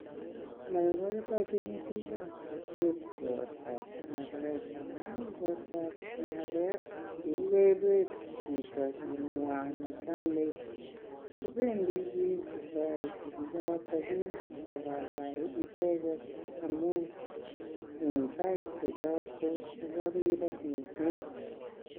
Moboiboinchin bikab kokwet igortab konoret amun igortoab konoret kokaibet chito chinywan ne chame. Kobendi biik kotoreti chichoto ak kogaigai icheget amun en saishek choto kobo rirek mising.